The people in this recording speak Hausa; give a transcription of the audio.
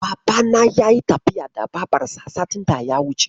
Babana ya yi tafiya da Babarsa satin daya wuce.